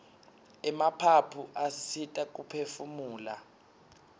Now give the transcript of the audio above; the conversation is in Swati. emaphaphu asisita kuphefumula